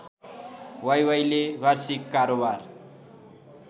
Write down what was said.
वाइवाइले वार्षिक कारोवार